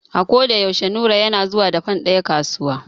A ko da yaushe Nura yana zuwa da fan ɗaya kasuwa.